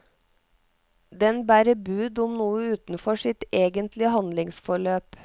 Den bærer bud om noe utenfor sitt egentlige handlingsforløp.